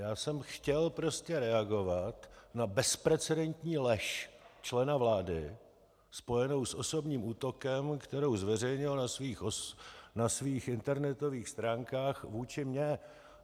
Já jsem chtěl prostě reagovat na bezprecedentní lež člena vlády spojenou s osobním útokem, kterou zveřejnil na svých internetových stránkách vůči mně.